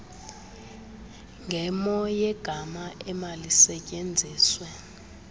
ngemo yegama emalisetyenziswe